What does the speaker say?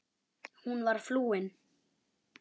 Hún var flúin.